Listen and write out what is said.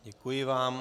Děkuji vám.